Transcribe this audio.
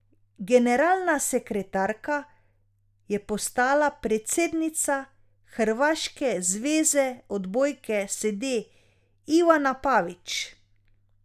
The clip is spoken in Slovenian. Generalna sekretarka je postala predsednica hrvaške zveze odbojke sede Ivana Pavić.